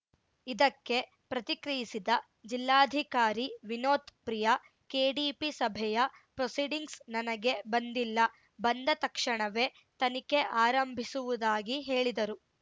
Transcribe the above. ಇದಕ್ಕೆ ಪ್ರತಿಕ್ರಿಯಿಸಿದ ಜಿಲ್ಲಾಧಿಕಾರಿ ವಿನೋತ್‌ ಪ್ರಿಯಾ ಕೆಡಿಪಿ ಸಭೆಯ ಪ್ರೊಸೀಡಿಂಗ್ಸ್‌ ನನಗೆ ಬಂದಿಲ್ಲ ಬಂದ ತಕ್ಷಣವೇ ತನಿಖೆ ಆರಂಭಿಸುವುದಾಗಿ ಹೇಳಿದರು